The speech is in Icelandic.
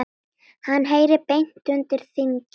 Hann heyri beint undir þingið.